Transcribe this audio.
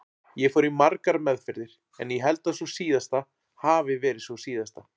Ég fór í margar meðferðir en ég held að sú síðasta hafi verið sú síðasta.